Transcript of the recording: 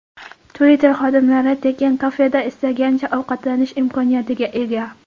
Twitter xodimlari tekin kafeda istagancha ovqatlanish imkoniyatiga ega.